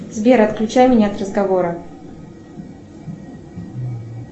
сбер отключай меня от разговора